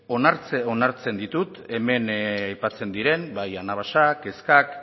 onartzen ditut hemen aipatzen diren bai anabasak kezkak